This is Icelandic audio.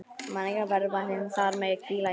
Menningarverðmætin þar mega hvíla í friði.